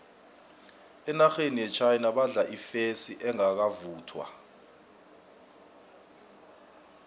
enarheni yechina badla ifesi engakavuthwa